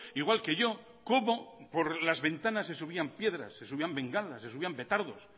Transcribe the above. igual que yo cómo por las ventanas se subían piedras se subían bengalas se subían petardos